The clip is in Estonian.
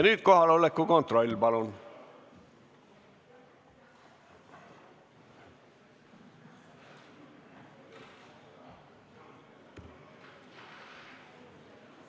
Nüüd teeme palun kohaoleku kontrolli!